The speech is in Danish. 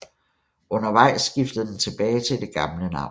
Undervejs skiftede den tilbage til det gamle navn